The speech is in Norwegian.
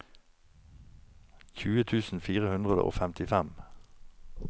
tjue tusen fire hundre og femtifem